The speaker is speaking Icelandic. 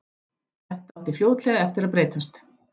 Þetta átti fljótlega eftir að breytast.